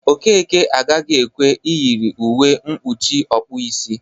Okeke agaghị ekwe eyiri uwe mkpuchi ọkpụisi